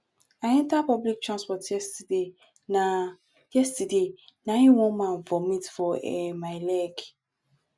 i enter public transport yesterday na yesterday na im one man vomit for um my leg